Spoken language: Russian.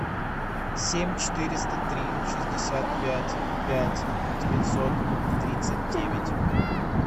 семь четыреста три шестьдесят пять пять девятьсот тридцать девять